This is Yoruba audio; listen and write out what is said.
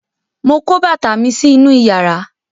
mọ kó bàtà mí sí inú iyàrá